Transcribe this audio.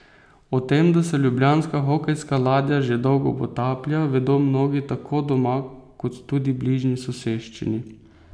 O tem, da se ljubljanska hokejska ladja že dolgo potaplja, vedo mnogi tako doma kot tudi bližnji soseščini.